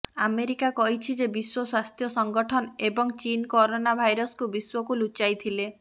America କହିଛି ଯେ ବିଶ୍ୱ ସ୍ୱାସ୍ଥ୍ୟ ସଂଗଠନ ଏବଂ ଚୀନ୍ କରୋନା ଭାଇରସ୍କୁ ବିଶ୍ୱକୁ ଲୁଚାଇଥିଲେ